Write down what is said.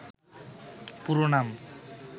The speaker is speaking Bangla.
পুরো নাম